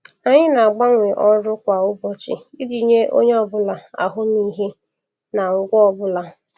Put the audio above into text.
Anyị na-agbanwe ọrụ kwa ụbọchị iji nye onye ọ bụla ahụmịhe na ngwa ọ bụla.